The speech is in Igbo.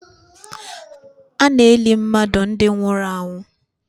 Ana eli mmadụ ndi nwụrụ anwụ